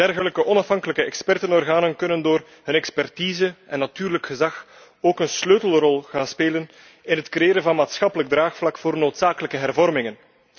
Dergelijke onafhankelijke expertenorganen kunnen door hun expertise en natuurlijk gezag ook een sleutelrol gaan spelen in het creëren van maatschappelijk draagvlak voor noodzakelijke hervormingen.